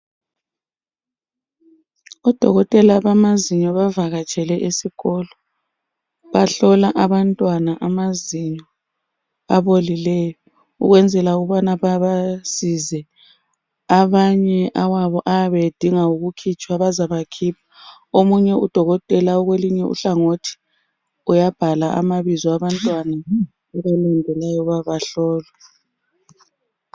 odokotela bamazinyo bavakatshele esikolo bahlola abantwana amazinyo abaolileyo ukwenzela ukuba babasize amanye ayabe edinga ukukhitshwa bazawakhipha omunye udokotela okulunye uhlangothi uyabhala amabizo abantwana abahlukeneyo bayaba hlola